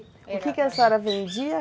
O que que a senhora vendia?